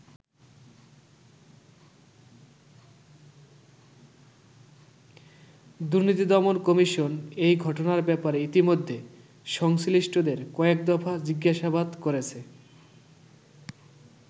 দুর্নীতি দমন কমিশন এই ঘটনার ব্যাপারে ইতোমধ্যে সংশ্লিষ্টদের কয়েক দফা জিজ্ঞাসাবাদ করেছে।